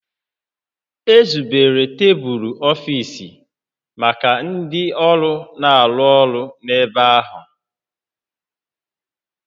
Ezubere tebulu ọfiisi maka ndị ọrụ na-arụ ọrụ n'ebe ahụ